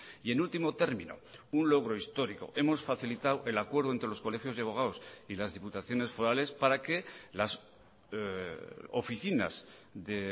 y en último término un logro histórico hemos facilitado el acuerdo entre los colegios de abogados y las diputaciones forales para que las oficinas de